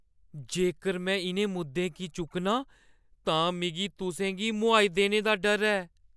जेकर में इʼनें मुद्दें गी चुक्कनां तां मिगी तुसें गी मोहाई देने दा डर ऐ।